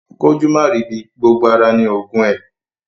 Kójú máa rì í ibi, gbogbo ara ni oògùn ẹ.